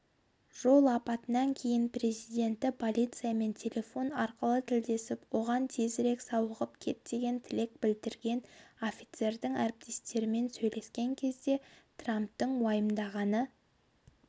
жол апатынан кейін президенті полициямен телефон арқылы тілдесіп оған тезірек сауығып кет деген тілек білдірген офицердің әріптестерімен сөйлескен кезде трамптың уайымдағаны